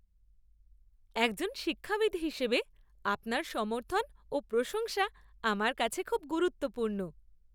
একজন শিক্ষাবিদ হিসেবে আপনার সমর্থন ও প্রশংসা আমার কাছে খুব গুরুত্বপূর্ণ।